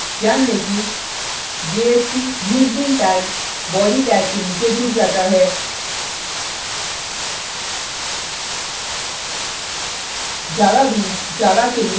ध्यान tag कि jsp: usebean tag body tag के नीचे जुड जाता है